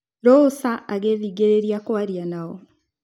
Rosa agĩthing'ĩrĩria kwaria nao.